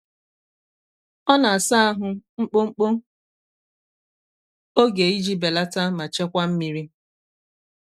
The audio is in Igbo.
ọ na-asa ahụ mkpụmkpụ oge iji belata ma chekwa mmiri